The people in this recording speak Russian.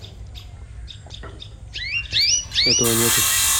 этого нету